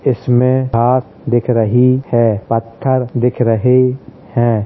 इसमें आस दिख रही है। पत्थर दिख रहें हैं।